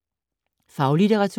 Faglitteratur